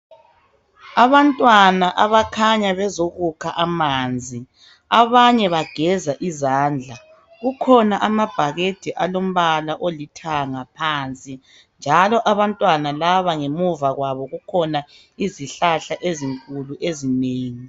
Abantwana abakhanya bezokukha amanzi abanye bageza izandla. Kukhona amabhakede alombala olithanga phansi njalo abantwana laba ngemuva kwabo kukhona izihlahla ezinkulu ezinengi.